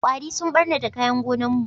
Kwari sun ɓarnata kayan gonan mu